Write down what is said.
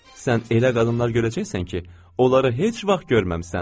Sən elə qadınlar görəcəksən ki, onları heç vaxt görməmisən.